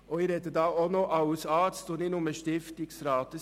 Ich spreche hier auch als Arzt, nicht nur als Stiftungsrat.